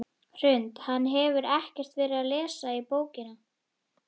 Hrund: Hann hefur ekkert verið að lesa bókina?